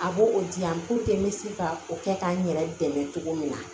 A b'o o di yan n bɛ se ka o kɛ ka n yɛrɛ dɛmɛ cogo min na